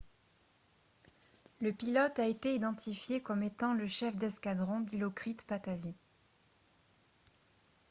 le pilote a été identifié comme étant le chef d'escadron dilokrit pattavee